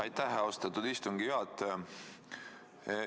Aitäh, austatud istungi juhataja!